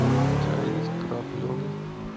у тебя есть крапленый